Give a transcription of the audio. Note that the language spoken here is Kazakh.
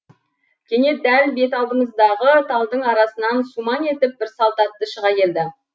кенет дәл беталдымыздағы талдың арасынан сумаң етіп бір салт атты шыға келді